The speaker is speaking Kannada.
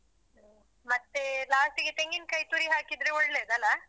ಮತ್ತೇ last ಗೆ ತೆಂಗಿನಕಾಯಿ ತುರಿ ಹಾಕಿದ್ರೆ ಒಳ್ಳೆದಲ್ಲ.